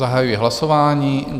Zahajuji hlasování.